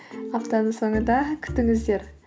аптаның соңында күтіңіздер